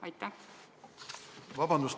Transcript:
Vabandust!